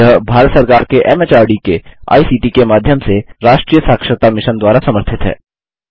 यह भारत सरकार के एमएचआरडी के आईसीटी के माध्यम से राष्ट्रीय साक्षरता मिशन द्वारा समर्थित है